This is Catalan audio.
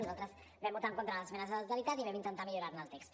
nosaltres vam votar en contra de les esmenes a la totalitat i vam intentar millorar ne el text